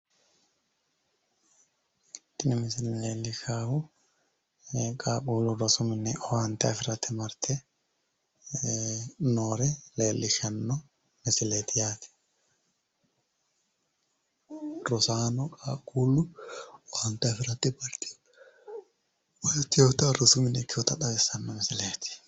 Tini misile leelishaahu qaaqulu rosu mine owaanite afirate marte noore leelishanno misileet yaate